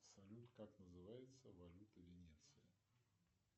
салют как называется валюта венеции